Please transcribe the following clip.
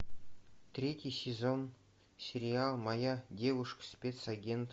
третий сезон сериал моя девушка спецагент